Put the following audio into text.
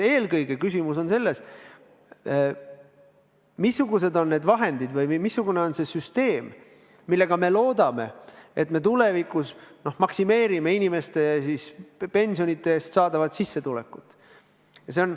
Eelkõige on küsimus selles, missugused on need vahendid või missugune on see süsteem, mida kasutades me loodetavasti tulevikus maksimeerime inimeste pensionid.